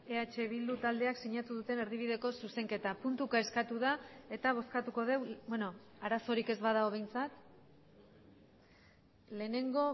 eh bildu taldeak sinatu duten erdibideko zuzenketa puntuka eskatu da eta bozkatuko dugu arazorik ez badago behintzat lehenengo